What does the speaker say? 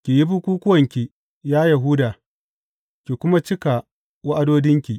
Ki yi bukukkuwanki, ya Yahuda, ki kuma cika wa’adodinki.